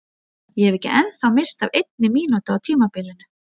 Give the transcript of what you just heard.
Ég hef ekki ennþá misst af einni mínútu á tímabilinu!